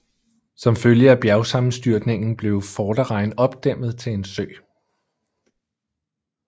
Som følge af bjergsammenstyrningen blev Vorderrhein opdæmmet til en sø